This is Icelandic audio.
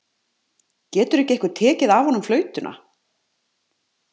Getur ekki einhver tekið af honum flautuna?